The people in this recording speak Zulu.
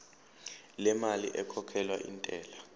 lemali ekhokhelwa intela